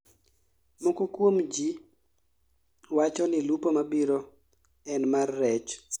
moko kuom ji wacho ni lupo mabiro en mar rech